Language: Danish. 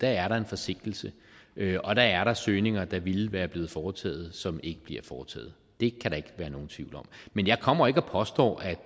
er der en forsinkelse og der er der søgninger der ville være blevet foretaget som ikke bliver foretaget det kan der ikke være nogen tvivl om men jeg kommer ikke og påstår at